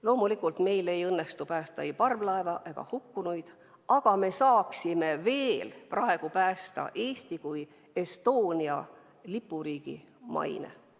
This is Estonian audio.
Loomulikult ei õnnestu meil päästa ei parvlaeva ega hukkunuid, aga me saaksime veel praegu päästa Eesti kui Estonia lipuriigi maine.